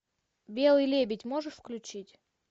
белый лебедь можешь включить